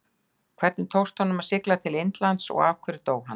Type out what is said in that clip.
Hvernig tókst honum að sigla til Indlands og af hverju dó hann?